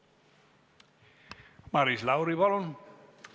Maris Lauri, palun!